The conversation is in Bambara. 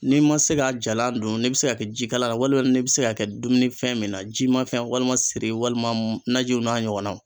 N'i ma se k'a jalan dun n'i bɛ se k'a kɛ ji kalan la walima n'i bi se k'a kɛ dumunifɛn min na, jimafɛn walima siri walima najiw n'a ɲɔgɔnnaw.